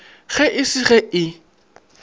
ge e se ge e